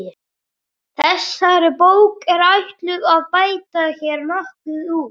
Þessari bók er ætlað að bæta hér nokkuð úr.